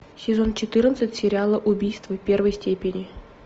сезон четырнадцать сериала убийство первой степени